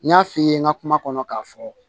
N y'a f'i ye n ka kuma kɔnɔ k'a fɔ